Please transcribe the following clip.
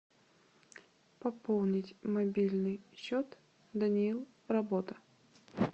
пополнить мобильный счет даниил работа